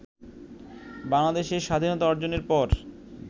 বাংলাদেশের স্বাধীনতা অর্জনের পর